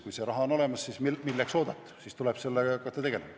Kui raha on olemas, siis milleks oodata, tuleb hakata sellega tegelema.